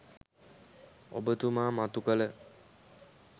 ඔබතුමා මතු කළ